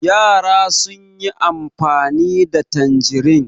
Yara sun yi amfani da tanjirin.